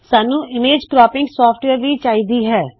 ਸਾੱਨੂ image cropping software ਵੀ ਚਾਹੀ ਦੀ ਹੈ